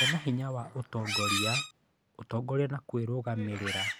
Kũgĩa na hinya wa ũtongoria, ũtongoria na kwĩrũgamĩrĩra